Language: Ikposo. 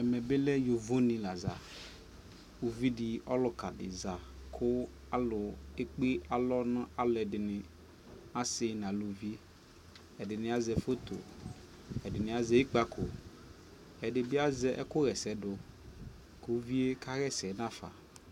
ɛkɛ bi lɛ yɔvɔ ni la za, ʋvidi di ɔlʋka di za kʋ alʋ ɛkpè alɔ nʋ alʋɛdini asii nʋ alʋvi, ɛdini azɛ photo, ɛdini azɛ ikpakɔ, ɛdibi azɛ ɛkʋbyɛsɛ dʋ kʋ kʋ ʋviɛ kayɛsɛ nʋ aƒa